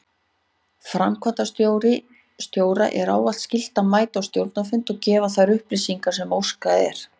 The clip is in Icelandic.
Framkvæmdastjóra er ávallt skylt að mæta á stjórnarfundum og gefa þær upplýsingar sem óskað er.